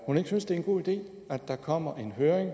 hun ikke synes det er en god idé at der kommer en høring